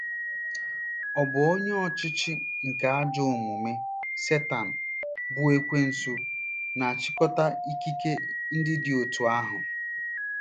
Ọ̀ bụ onye ọchịchị nke ajọ omume— Setan bụ́ Ekwensu na-achịkọta ikike ndị dị otú ahụ?